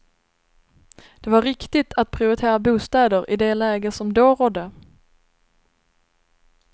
Det var riktigt att priortera bostäder i det läge som då rådde.